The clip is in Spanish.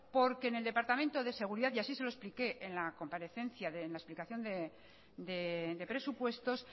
porque en el departamento de seguridad así se lo expliqué en la comparecencia en la explicación de presupuestos